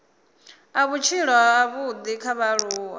a vhutshilo havhudi kha vhaaluwa